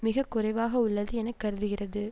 மிக குறைவாக உள்ளது என கருதுகிறது